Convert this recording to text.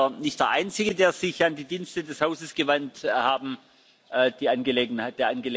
Sie sind nicht der Einzige, der sich an die Dienste des Hauses gewandt hat.